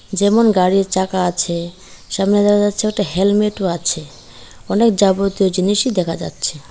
যেমন গাড়ির চাকা আছে সামনে দেখা যাচ্ছে একটা হেলমেট ও আছে অনেক যাবতীয় জিনিসই দেখা যাচ্ছে।